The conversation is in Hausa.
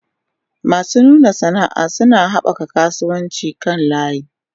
Masu nuna sana'a suna haɓaka kasuwancin kan layi.